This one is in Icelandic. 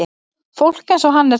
Fólk eins og hann er til.